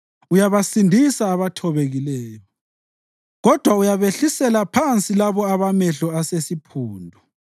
Uyabasindisa abathobekileyo; kodwa uyabehlisela phansi labo abamehlo asesiphundu.